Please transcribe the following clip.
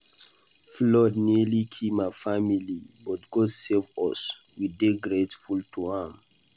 Flood nearly kill my family but God save us. We dey grateful to am.